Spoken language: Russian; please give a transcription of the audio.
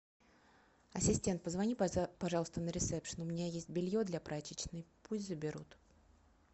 ассистент позвони пожалуйста на ресепшен у меня есть белье для прачечной пусть заберут